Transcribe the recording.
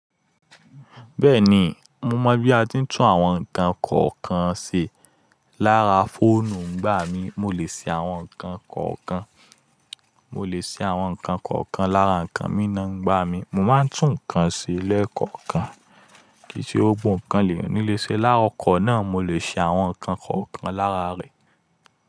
Bẹ́ẹ̀ni, mo mọ̀ bí a ti ń tún àwọn nǹkan kọ̀ọ̀kan ṣe lára fóònù ńígbà mí, mo lè ṣe àwọn nǹkan kọ̀ọ̀kan. Mo lè ṣe àwọn nǹkan kọ̀ọ̀kan lára nǹkan mí náâ ńgbà mí. Mo máa ń tún nǹkan ṣe lẹ́ẹ̀kọ̀ọ̀kan. Kìí ṣe gbogbo ǹkan lèyàn nílé ṣe lára ọkọ̀ náà, mo lè ṣe àwọn nǹkan kọ̀ọ̀kan lára rẹ̀.